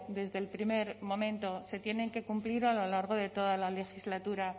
desde el primer momento se tienen que cumplir a lo largo de toda la legislatura